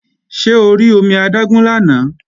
Ṣé o rí omi adágún lánàá?